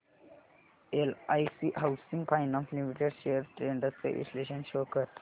LIC housing finance limited shares trends चे विश्लेषण show कर